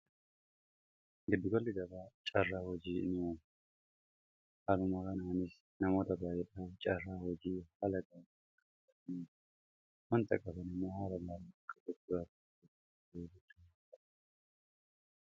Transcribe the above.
gaddigolli gabaa caarraa hojii ni'aon haalumaa kanaanis namoota baayyedhaan caarraa hojii halagakaa wanta qabanimaa haala gaalqaaqguraat beebutunye